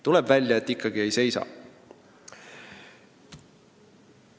Tuleb välja, et ikkagi ei seisa.